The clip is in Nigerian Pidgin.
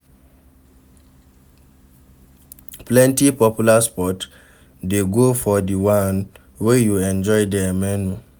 Plenty popular spot de go for di one wey you enjoy their menu